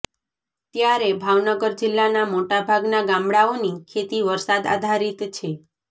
ત્યારે ભાવનગર જિલ્લાના મોટાભાગના ગામડાઓની ખેતી વરસાદ આધારિત છે